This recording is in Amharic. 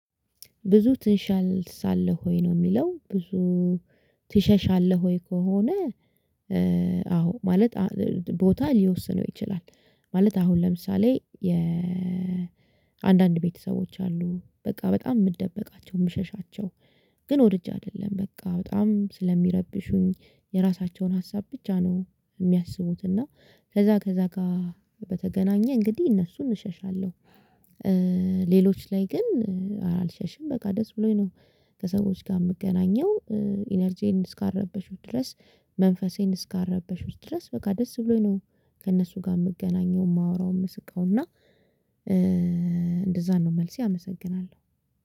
ብዙ ትሽሻለህ ሆይ ነው የሚለው ብዙ ትሸሻለህ ሆይ ከሆነ? አዎ ማለት ቦታ ሊወስነው ይችላል ማለት አሁን ለምሳሌ የአንዳንድ ቤተሰቦች አሉ በቃ በጣም የምትደበቃቸው የምሸሻቸው። ግን ወድጄ አይደለም በቃ በጣም ስለሚረብሹኝ የራሳቸውን ሀሳብ ብቻ ነው የሚያስቡት እና ከዛ ከዛ ጋር በተገናኘ እንግዲህ እነሱን እሸሻለሁ። ሌሎች ላይ ግን አልሸሽም በቃ ደስ ብሎኝ ነው። ከሰዎች ጋር የምገናኘው። ኢነርጂዬን እስካረበሹት ድረስ። መንፈሴን እስካረበሹት ውስጥ ድረስ በቃ ደስ ብሎኝ ነው ከእነሱ ጋር የምገናኘው የማወራው የምስቀው እና እንደዛ ነው መልሴ አመሰግናለሁ።